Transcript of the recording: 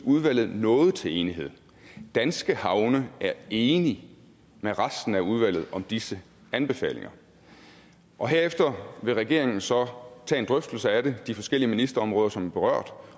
udvalget nåede til enighed danske havne er enige med resten af udvalget om disse anbefalinger og herefter vil regeringen så tage en drøftelse af det inden de forskellige ministerområder som er berørt